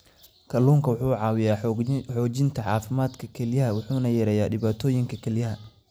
Kalluunku wuxuu caawiyaa xoojinta caafimaadka kelyaha wuxuuna yareeyaa dhibaatooyinka kelyaha.